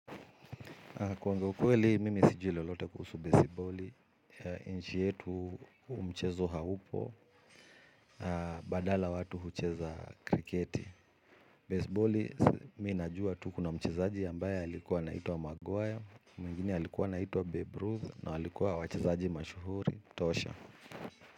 Kuongea ukweli mimi sijui lolote kuhusu baseballi, nchi yetu huu mchezo haupo, badala watu hucheza kriketi. Baseballi, mi najua tu kuna mchezaji ambaye halikuwa naituwa Magwaya, mwingine alikuwa anaituwa Babe Ruth, na alikuwa wachezaji mashuhuri, tosha.